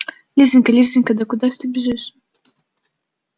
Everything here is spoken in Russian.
лизанька лизанька да куда ж ты бежишь